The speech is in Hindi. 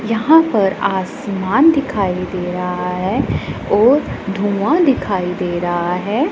यहां पर आसमान दिखाई दे रहा है और धूआ दिखाई दे रहा है।